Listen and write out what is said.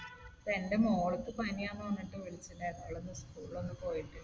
ഇപ്പൊ എന്റെ മോൾക്ക് പനിയാണെന്ന് പറഞ്ഞിട്ട് വിളിച്ചിട്ടുണ്ടായിരുന്നു. അവൾ ഇന്ന് school ൽ ഒന്നും പോയിട്ടില്ല.